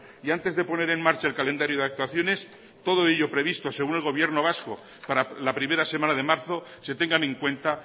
y antes de poner en marcha el calendario de actuaciones todo ello previsto según el gobierno vasco para la primera semana de marzo se tengan en cuenta